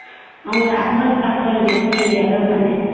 ଆମର ଆଖର ପାଖର ଯେତିକି ଜାଗା ମାନେ